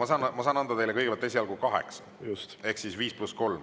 Ma saan anda teile esialgu kaheksa ehk siis 5 + 3